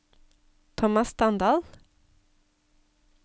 Tomas Standal